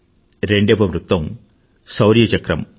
రెండవ వృత్తం శౌర్య చక్రం